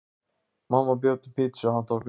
Mamma bjó til pitsu handa okkur.